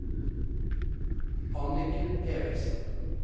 Anniken Erichsen